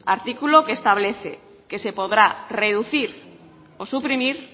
artículo que establece que se podrá reducir o suprimir